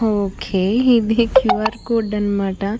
ఒకే ఇది QR. Code అనమాట.